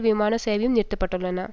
விமான சேவையும் நிறுத்தப்பட்டுள்ளன